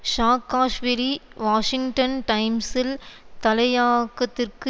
Saakashvili Washington டைம்ஸில் தலையாக்கத்திற்கு